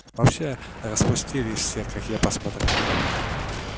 вообще распустились все как я посмотрю